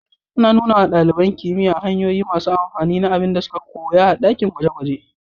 Ana nuna wa ɗaliban kimiyya hanyoyi masu amfani na abin da suka koya a cikin dakin gwaje-gwaje.